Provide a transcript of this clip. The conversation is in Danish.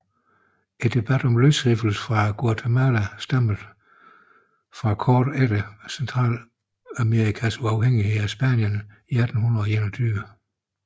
Debatten om løsrivelse fra Guatemala stammede fra kort efter Centralamerikas uafhængighed af Spanien i 1821